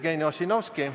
Jevgeni Ossinovski.